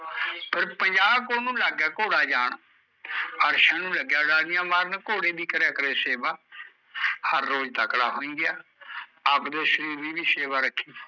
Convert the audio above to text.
ਫੇਰ ਪੰਜਾਹ ਕੋਹ ਨੂ ਲੱਗ ਗਿਆ ਘੋੜਾ ਜਾਣ ਨੂੰ ਲੱਗਿਆ ਉਡਾਰੀ ਮਾਰਨ ਫੇਰ ਘੋੜਾ ਲੱਗਿਆ ਕਰੇ ਹਰ ਰੋਜ਼ ਤਕੜਾ ਹੋਈ ਗਿਆ ਅਵਦੇ ਸ਼ਰੀਰ ਦੀ ਵੀ ਸੇਵਾ ਰੱਖੀ